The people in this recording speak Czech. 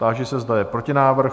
Táži se, zda je protinávrh?